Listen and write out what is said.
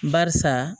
Barisa